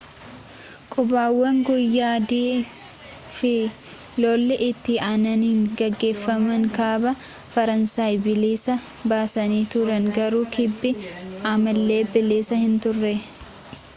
qubannaawwan guyyaa-d fi lolli itti aananii geggeeffaman kaaba faransaay bilisa baasanii turan garuu kibbi ammallee bilisa hin turre